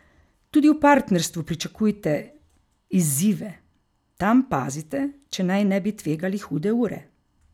Tudi v partnerstvu pričakujte izzive, tam pazite, če naj ne bi tvegali hude ure.